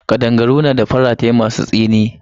Kadangaru na da faratai masu tsini.